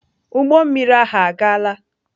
Ụgbọ mmiri ahụ agaala?